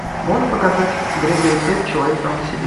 можешь показать грегори пек человек сам по себе